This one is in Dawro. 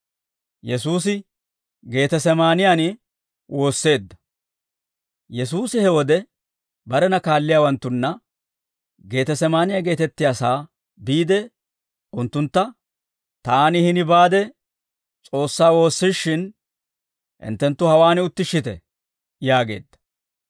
Yesuusi he wode barena kaalliyaawanttunna Geetesemaaniyaa geetettiyaasaa biide unttuntta, «Taani hini baade S'oossaa woossishin, hinttenttu hawaan uttishshite» yaageedda.